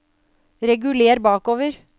reguler bakover